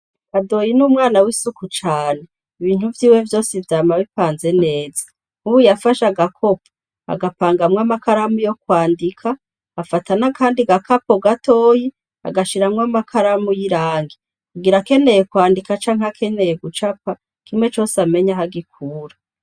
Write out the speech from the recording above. Kadoyi ni umwana w' isuku cane ibintu vyiwe vyose vyama bipanze neza nkubu yafashe agakopo agapangamwo amakaramu yo kwandika afata n' akandi gakapo gatoyi agashiramwo amakaramu y' irangi ngira akeneye kwandika canke gucapa kimwe cose amenye aho agikura.